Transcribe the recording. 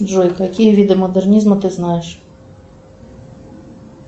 джой какие виды модернизма ты знаешь